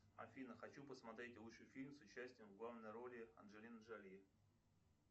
афина хочу посмотреть лучший фильм с участием в главной роли анджелины джоли